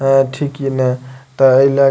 ठीक ने ते ए लाके --